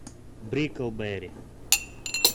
бриклберри